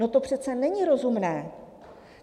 No to přece není rozumné!